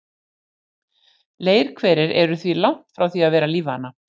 Leirhverir eru því langt frá því að vera lífvana.